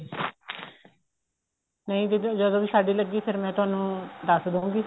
ਨਹੀਂ ਦੀਦੀ ਜਦੋਂ ਵੀ ਸਾਡੇ ਲੱਗੀ ਫੇਰ ਮੈਂ ਤੁਹਾਨੂੰ ਦੱਸ ਦਉਗੀ